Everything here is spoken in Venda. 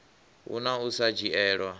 hu na u sa dzhielwa